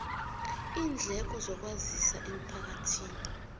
iindleko zokwazisa emphakathini